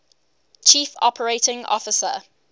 chief operating officer